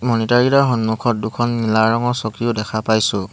মনিতাৰ কেইটাৰ সন্মুখত দুখন নীলা ৰঙৰ চকীও দেখা পাইছোঁ।